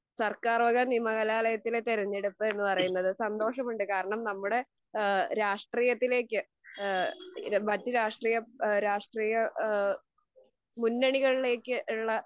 സർക്കാർവക നിയമകലാലയത്തിലെ തെരുഞ്ഞെടുപ്പ് എന്ന് പറയുന്നത്. സന്തോഷമുണ്ട് കാരണം നമ്മുടെ ഏഹ് രാഷ്ട്രീയത്തിലേക്ക് ഏഹ് മറ്റു രാഷ്ട്രീയം എഹ് രാഷ്ട്രീയ ഏഹ് മുന്നണികളിലേക് ഉള്ള